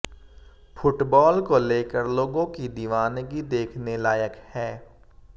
football को लेकर लोगों की दीवानगी देखने लायक है